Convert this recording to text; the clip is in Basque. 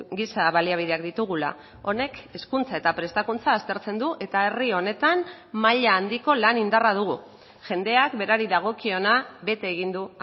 giza baliabideak ditugula honek hezkuntza eta prestakuntza aztertzen du eta herri honetan maila handiko lan indarra dugu jendeak berari dagokiona bete egin du